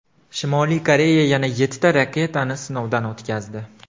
Shimoliy Koreya yana yettita raketani sinovdan o‘tkazdi.